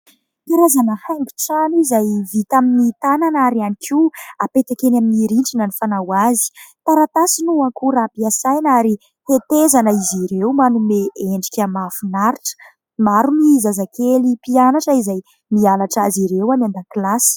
Karazana haingo trano izay vita amin'ny tanana ary ihany koa hapetaka eny amin'ny rindrina ny fanao azy. Taratasy no ankora ampiasaina ary hetezana izy ireo manome endrika mahafinaritra. Maro amin'ny zazakely mpianatra izay nianatra azy ireo any an-dakilasy.